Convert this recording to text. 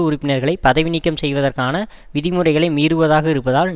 உறுப்பினர்களை பதவி நீக்கம் செய்வதற்கான விதிமுறைகளை மீறுவதாக இருப்பதால்